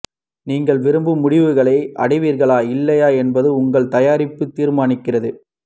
நீங்கள் விரும்பும் முடிவுகளை அடைவீர்களா இல்லையா என்பதை உங்கள் தயாரிப்பு தீர்மானிக்கிறது